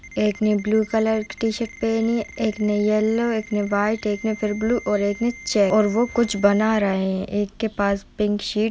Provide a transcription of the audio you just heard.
एक ने blue T-shirt पहनी है एक ने येल्लो एक ने व्हाइट एक ने फिर ब्लू और एक ने चेक और वो कुछ बना रहे है एक पास पिंक शीट --